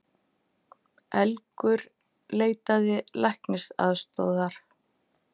Elgur leitaði læknisaðstoðar